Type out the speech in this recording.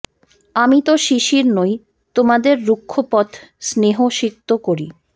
আমি তো শিশির নই তোমাদের রুক্ষ পথ স্নেহসিক্ত করি